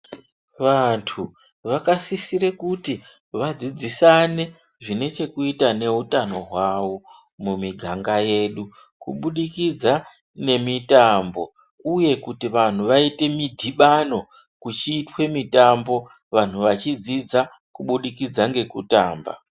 Vantu vakasisire kuti vadzidzise zvine chekuita neutano hwavo mumiganga yedu. Kubudikidza ngemitambo uye kuti vantu vaite midhibano kuchiitwa mitambo vantu vachidzidza kubudikidza ngekutamba.